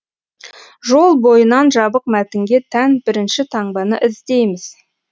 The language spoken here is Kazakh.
жол бойынан жабық мәтінге тән бірінші таңбаны іздейміз